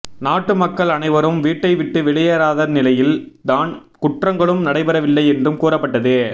நாட்டு மக்கள் அனைவரும் வீட்டை விட்டு வெளியேறாத நிலையில் தான் குற்றங்களும் நடைபெறவில்லை என்றும் கூறப்பட்டது